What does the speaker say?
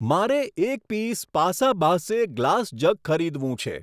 મારે એક પીસ પાસાબાહ્સે ગ્લાસ જગ ખરીદવું છે.